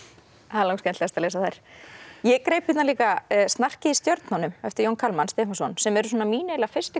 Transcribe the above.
það er langskemmtilegast að lesa þær ég greip hérna líka Snarkið í stjörnunum eftir Jón Kalman Stefánsson sem eru mín eiginlega fyrstu